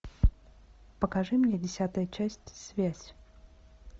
покажи мне десятая часть связь